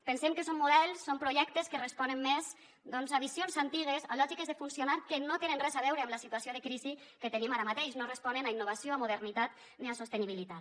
pensem que són models són projectes que responen més doncs a visions antigues a lògiques de funcionar que no tenen res a veure amb la situació de crisi que tenim ara mateix no responen a innovació a modernitat ni a sostenibilitat